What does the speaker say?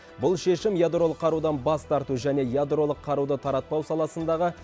бұл шешім ядролық қарудан бас тарту және ядролық қаруды таратпау саласындағы